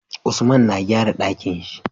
Usman na gyara Ɗakinshi